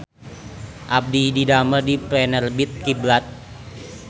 Abdi didamel di Penerbit Kiblat